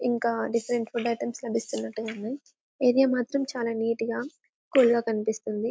ఇంకా different food items లభిస్తున్నట్టుగా ఉన్నాయి ఏరియా మాత్రం చాలా నీట్ గా కూల్ గా కనిపిస్తుంది.